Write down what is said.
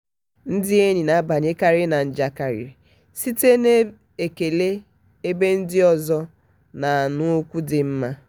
ndị enyi na-abanyekarị na njakịrị site n'ekele ebe ndị ọzọ na-anụ okwu dị mma.